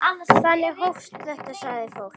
Þannig hófst þetta, sagði fólk.